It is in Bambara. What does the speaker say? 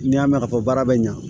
N'i y'a mɛn ka fɔ baara bɛ ɲa